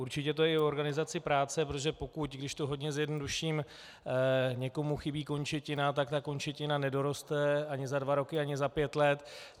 Určitě to je i organizací práce, protože pokud, když to hodně zjednoduším, někomu chybí končetina, tak ta končetina nedoroste ani za dva roky, ani za pět let.